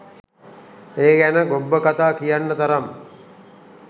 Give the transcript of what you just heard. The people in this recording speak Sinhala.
ඒ ගැන ගොබ්බ කතා කියන්න තරම්